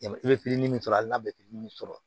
I bɛ pitini min sɔrɔ ali n'a bɛ pitini sɔrɔ